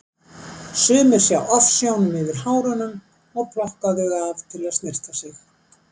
Sumir sjá ofsjónum yfir hárunum og plokka þau af til að snyrta sig.